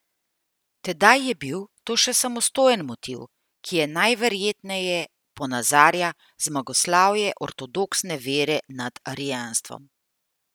Tedaj je bil to še samostojen motiv, ki je najverjetneje ponazarja zmagoslavje ortodoksne vere nad arijanstvom.